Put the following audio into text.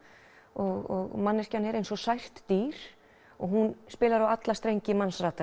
og manneskjan er eins og sært dýr og hún spilar á alla strengi